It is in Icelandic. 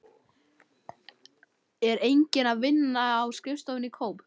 Er enginn að vinna á skrifstofunni í Kóp?